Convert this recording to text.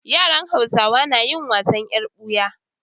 Yaran hausawa nayin wasan yar buya